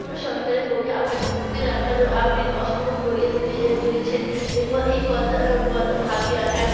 কোনো সরকারের পক্ষে আপনাকে মুক্তি রাখার আপনি অসম্ভব করে তুলছেন এই কথা ভেবে এক